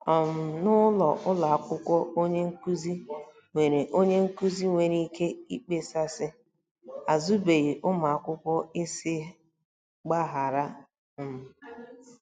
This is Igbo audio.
um N'ụlọ akwụkwọ onye nkụzi nwere onye nkụzi nwere ike ịkpesa sị, ' Azụbeghị ụmụaka ị sị gbaghara. ' um